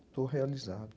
Estou realizado.